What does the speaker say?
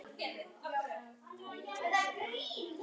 Það tækist ekki í dag.